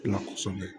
La kɔsɛbɛ